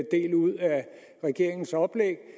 regeringens oplæg